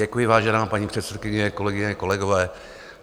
Děkuji, vážená paní předsedkyně, kolegyně, kolegové.